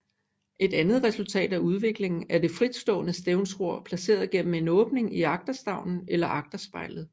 Et andet resultat af udviklingen er det fritstående stævnsror placeret gennem en åbning i agterstævnen eller agterspejlet